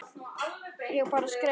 Ég bara skreið